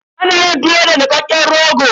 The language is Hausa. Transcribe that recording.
Ana yin tuwo da nikakken rogo.